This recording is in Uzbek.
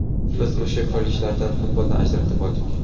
Biz o‘sha kollejlardan futbolni ajratib oldik.